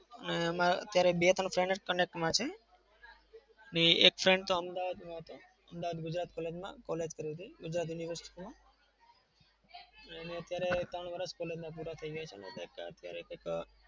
એમાં અત્યારે બે-ત્રણ friend જ connect માં છે અને એક friend તો અમદાવાદમાં હતો. અમદાવાદ ગુજરાત college માં college કરે છે ગુજરાત university માં. અને એના અત્યારે ત્રણ વરસ collage માં પુરા થઇ જાય છે અને ત્યાં અત્યારે કંઈક